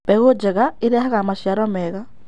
Mbegũ njega ĩrehaga macĩaro mega